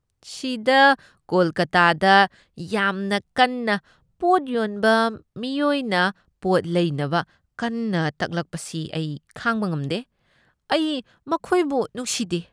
ꯁꯤꯗꯥ ꯀꯣꯜꯀꯥꯇꯥꯗ ꯌꯥꯝꯅ ꯀꯟꯅ ꯄꯣꯠ ꯌꯣꯟꯕ ꯃꯤꯑꯣꯏꯅ ꯄꯣꯠ ꯂꯩꯅꯕ ꯀꯟꯅ ꯇꯛꯂꯛꯄꯁꯤ ꯑꯩ ꯈꯥꯡꯕ ꯉꯝꯗꯦ ꯫ ꯑꯩ ꯃꯈꯣꯏꯕꯨ ꯅꯨꯡꯁꯤꯗꯦ ꯫